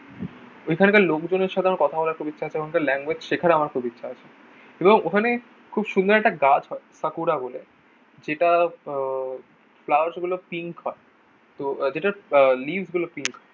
ওইখান কার লোকজনের সাথে আমার কথা বলার খুব ইচ্ছা আছে এবং তার ল্যাঙ্গুয়েজে শেখারও আমার খুব ইচ্ছা আছে এবং ওখানে খুব সুন্দর একটা গাছ হয় পাকুরা বলে সেটা আহ ফ্লাওয়ার্স গুলো পিঙ্ক হয়। তো আহ যেটার লিফ গুলো পিঙ্ক হয়।